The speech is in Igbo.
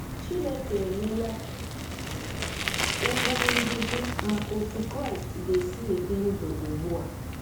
Chineke enyèlá ụ̀kpụrụ̀ ndúzì maka otú Kraịst ga-èsi èbí ndụ́ ùgbù a.